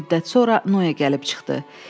Xeyli müddət sonra Noe gəlib çıxdı.